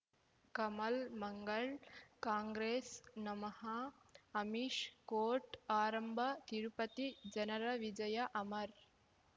ಕಮಲ್ ಮಂಗಳ್ ಕಾಂಗ್ರೆಸ್ ನಮಃ ಅಮಿಷ್ ಕೋರ್ಟ್ ಆರಂಭ ತಿರುಪತಿ ಜನರ ವಿಜಯ ಅಮರ್